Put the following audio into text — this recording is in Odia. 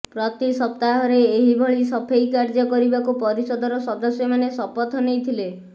ପ୍ରତି ସପ୍ତାହରେ ଏହିଭଳି ସଫେଇ କାର୍ଯ୍ୟ କରିବାକୁ ପରିଷଦର ସଦସ୍ୟମାନେ ଶପଥ ନେଇଥିଲେ